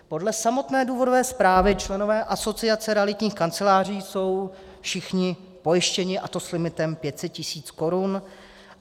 Podle samotné důvodové zprávy členové Asociace realitních kanceláří jsou všichni pojištěni, a to s limitem 500 000 korun.